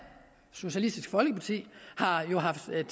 socialistisk folkeparti har haft en